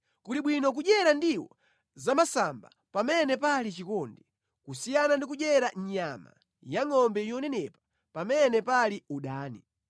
Kuli bwino kudyera ndiwo zamasamba pamene pali chikondi, kusiyana ndi kudyera nyama yangʼombe yonenepa pamene pali udani.